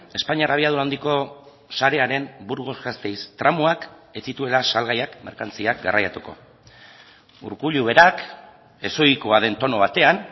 espainiar abiadura handiko sarearen burgos gasteiz tramoak ez zituela salgaiak merkantziak garraiatuko urkullu berak ez ohikoa den tono batean